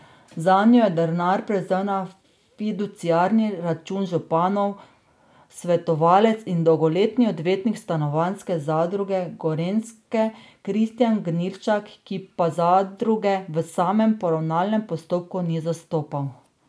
Zanjo je denar prevzel na fiduciarni račun županov svetovalec in dolgoletni odvetnik Stanovanjske zadruge Gorenjske Kristijan Gnilšak, ki pa zadruge v samem poravnalnem postopku ni zastopal.